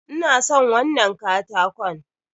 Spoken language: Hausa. Ina son wannan katakon.